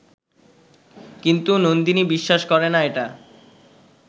কিন্তু নন্দিনী বিশ্বাস করে না এটা